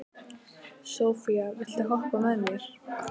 Sophia, viltu hoppa með mér?